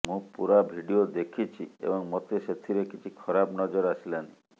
ମୁଁ ପୁରା ଭିଡିଓ ଦେଖିଛି ଏବଂ ମତେ ସେଥିରେ କିଛି ଖରାପ ନଜର ଆସିଲାନି